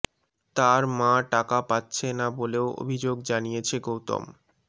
তার মা টাকা পাচ্ছে না বলেও অভিযোগ জানিয়েছে গৌতম